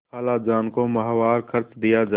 खालाजान को माहवार खर्च दिया जाय